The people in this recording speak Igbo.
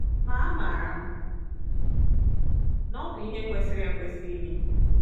Ma amaara m na ọ bụ ihe kwesịrị ekwesị ime. ”